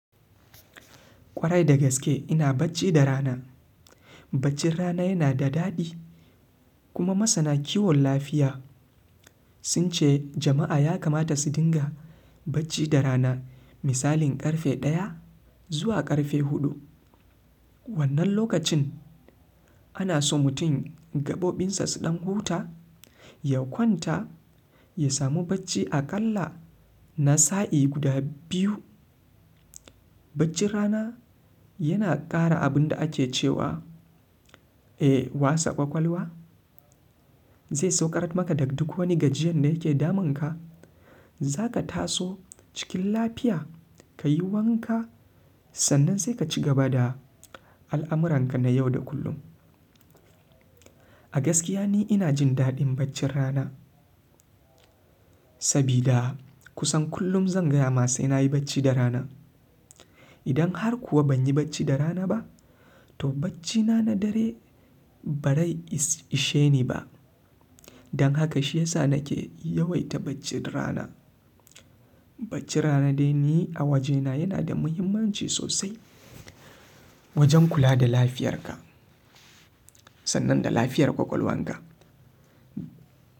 Kwarai da gaske ina bacci da rana. Baccin rana yana da daɗi kuma masana kiwon lafiya sun ce jama'a ya kamata su dinga bacci da rana misalin ƙarfe ɗaya zuwa ƙarfe huɗu. Wannan lokacin ana so mutum gabobin sa suɗan huta, ya kwanta, ya samu bacci aƙalla na sa'i guda biyu. Baccin rana yana ƙara abun da ake cewa, eh wasa ƙwaƙwalwa, zai saukar maka daga duk wani gajiyan da yake damunka. Zaka taso cikin lafiya kayi wanka sannan sai ka cigaba da alamuranka na yau da kullum. A gaskiya ni ina jin daɗin baccin rana sabida kusan kullum zan gayama sai na yi bacci da rana. Idan har kuwa ban yi bacci da rana ba to baccina na dare ba rai isheni ba. Dan haka shiyasa nake yawaita bacci da rana. Bacci rana dai ni a wajena yana da muhimmanci sosai wajen kula da lafiyarka. Sannan da lafiyar ƙwaƙwalwanka.